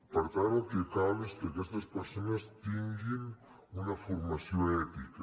per tant el que cal és que aquestes persones tinguin una formació ètica